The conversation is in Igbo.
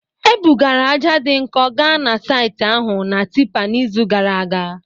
Ebugara ájá dị nkọ gaa na saịtị ahụ na tipper n'izu gara aga